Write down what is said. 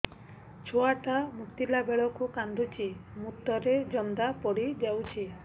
ଛୁଆ ଟା ମୁତିଲା ବେଳକୁ କାନ୍ଦୁଚି ମୁତ ରେ ଜନ୍ଦା ପଡ଼ି ଯାଉଛି